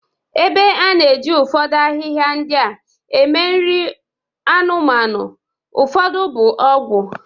Ebe a na-eji ụfọdụ ahịhịa ndị a eme nri anụmanụ, ụfọdụ bụ ọgwụ.